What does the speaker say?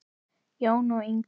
Jón og Inga.